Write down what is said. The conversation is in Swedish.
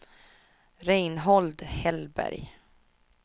Reinhold Hellberg